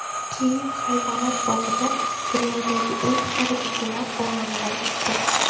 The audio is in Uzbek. Kiyev hayvonot bog‘ida dunyodagi eng qari begemot olamdan o‘tdi.